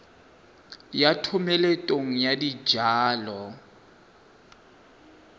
ya thomeloteng ya dijalo le